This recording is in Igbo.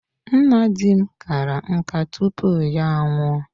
Nna dim kara nkà tupu ya anwụọ.